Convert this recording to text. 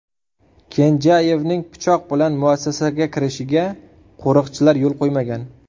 Kenjayevning pichoq bilan muassasaga kirishiga qo‘riqchilar yo‘l qo‘ymagan.